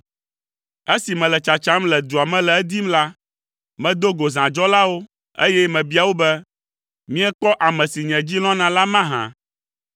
Esi mele tsatsam le dua me le edim la, medo go zãdzɔlawo, eye mebia wo be, “Miekpɔ ame si nye dzi lɔ̃na la mahã?”